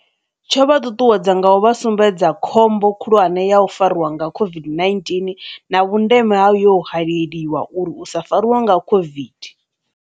Tsho vha ṱuṱuwedza nga u vha sumbedza khombo khulwane ya u fariwa nga COVID-19 na vhundeme ha yo holeliwa uri u sa fariwa nga COVID.